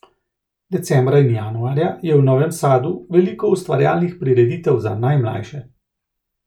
Decembra in januarja je v Novem sadu veliko ustvarjalnih prireditev za najmlajše.